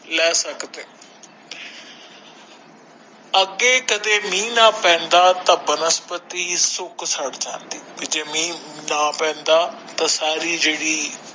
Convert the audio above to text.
ਲੈ ਸਕਦੇ ਹੋ ਅੱਗੇ ਕਦੇ ਮੀਹ ਨਾ ਪੈਂਦਾ ਤਾ ਬਨਸਪਤੀ ਸੁੱਕ ਸੜ ਜਾਂਦੀ ਕੀ ਜੇ ਮੀਹ ਨਾ ਪੈਂਦਾ ਤਾ ਸਾਰੀ ਜਿਹੜੀ।